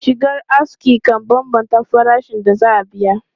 Shigar aski kan bambanta farashin da za a biya.